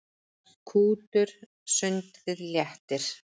Kútur sundið léttir.